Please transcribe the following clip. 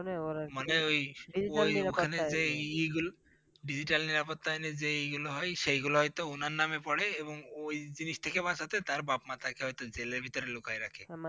মানে ওই ওই মানে যেই ইগুলো Digital নিরাপত্তা আইনের যে ইগুলো হয় সেইগুল হয়তো ওনার নামে পরে এবং ওই জিনিস টিকে বাঁচাতে তার বাপ- মা তাকে হয়তো জেলের ভিতরে লুকাইয়ে রাখে।